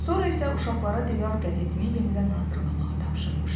Sonra isə uşaqlara divar qəzetini yenidən hazırlamağı tapşırmışdı.